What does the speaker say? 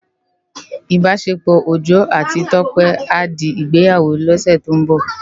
Ibásépò Ojo áti Tope á di Igbéyáwó lòsè tó n bò